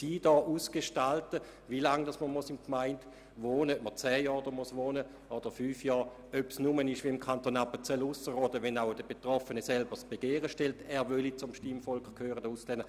Also beispielsweise etwa, wie lange man dafür in einer Gemeinde wohnhaft sein muss, ob dies zehn oder nur fünf Jahre sein sollen, oder ob es, wie im Kanton Appenzell Ausserrhoden, nur dann ermöglicht wird, wenn der Betroffene selber das Begehren stellt, zum Stimmvolk gehören zu wollen.